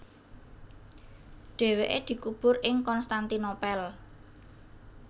Dhèwèké dikubur ing Konstantinopel